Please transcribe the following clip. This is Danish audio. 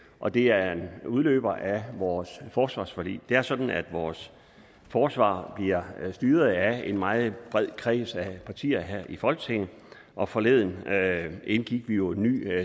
og det er en udløber af vores forsvarsforlig det er sådan at vores forsvar bliver styret af en meget bred kreds af partier her i folketinget og forleden indgik vi jo en ny